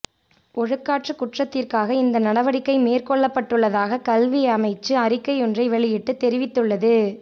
ஒழுக்காற்று குற்றத்திற்காக இந்த நடவடிக்கை மேற்கொள்ளப்பட்டுள்ளதாக கல்வி அமைச்சு அறிக்கையொன்றை வெளியிட்டு தெரிவித்துள்ளது